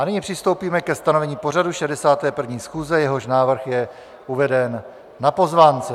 A nyní přistoupíme ke stanovení pořadu 61. schůze, jehož návrh je uveden na pozvánce.